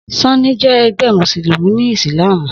Súnì jẹ ẹgbẹ́ mùsùlùmí ni ìsìlámù.